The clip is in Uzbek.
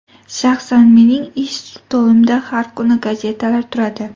Shaxsan mening ish stolimda har kuni gazetalar turadi.